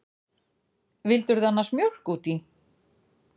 Vildirðu annars mjólk út í?